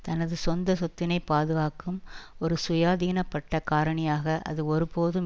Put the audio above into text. தனது சொந்த சொத்தினை பாதுகாக்கும் ஒரு சுயாதீனப்பட்ட காரணியாக அது ஒருபோதும்